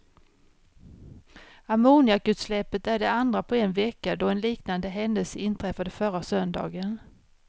Ammoniakutsläppet är det andra på en vecka då en liknande händelse inträffade förra söndagen.